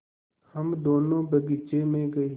हम दोनो बगीचे मे गये